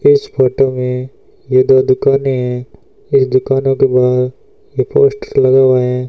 इस फोटो में ये दो दुकानें हैं इस दुकानों के बाहर एक पोस्टर लगा हुआ है।